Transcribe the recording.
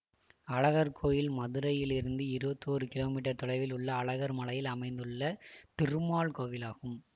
அழகர் கோயில் மதுரையிலிருந்து இருபத்தி ஒரு கிமீ தொலைவில் உள்ள அழகர் மலையில் அமைந்துள்ள திருமால் கோவிலாகும்